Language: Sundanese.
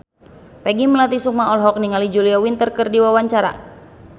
Peggy Melati Sukma olohok ningali Julia Winter keur diwawancara